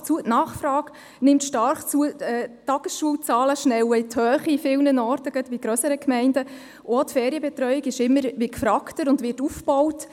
Denn das Angebot und die Nachfrage in den Gemeinden nehmen stark zu, die Tagesschulzahlen schnellen an vielen Orten in die Höhe, gerade in grösseren Gemeinden, und auch die Ferienbetreuung ist immer gefragter und wird aufgebaut.